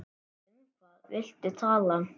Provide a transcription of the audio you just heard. Um hvað viltu tala?